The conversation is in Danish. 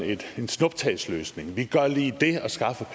en snuptagsløsning vi gør lige det og skaffer